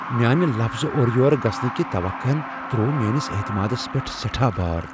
میٲنہِ لفظ اورٕ یور گژھنٕكہِ کی توقع ہن تر٘وو میٲنِس اعتمادس پیٹھ سیٹھاہ بھار ۔